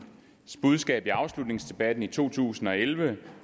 budskab i afslutningsdebatten i to tusind og elleve